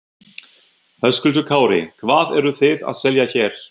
Höskuldur Kári: Hvað eru þið að selja hér?